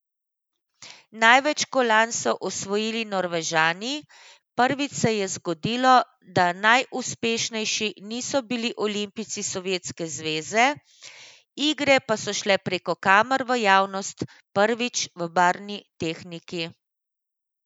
Največ kolajn so osvojili Norvežani, prvič se je zgodilo, da najuspešnejši niso bili olimpijci Sovjetske zveze, igre pa so šle preko kamer v javnost prvič v barvni tehniki.